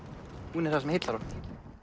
hún er það sem heillar okkur